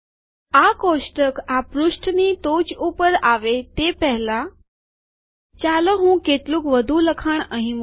આ કોષ્ટક આ પૃષ્ઠની ટોચ ઉપર આવે તે પેહલા ચાલો હું કેટલુંક વધુ લખાણ અહીં મુકું